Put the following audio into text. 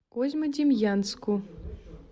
козьмодемьянску